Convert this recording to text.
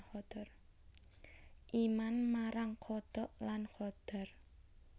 Iman marang qadha lan qadar